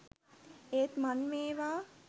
ඒත් මං මේවා